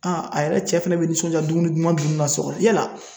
a yɛrɛ cɛ fɛnɛ bɛ nisɔnja dumuni duman dunni na so kɔnɔ, yala